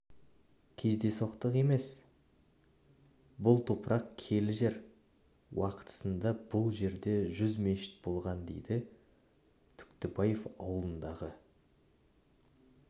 кездейсоқтық емес бұл топырақ киелі жер уақытысында бұл жерде жүз мешіт болған дейді түктібаев ауылындағы